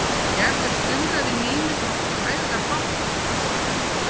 Gerður stumraði yfir Nínu sem átti hræðilega bágt í svona gusugangi.